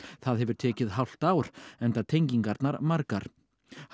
það hefur tekið hálft ár enda tengingarnar margar hann